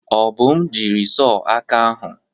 Obum jiri sọh aka ahụ.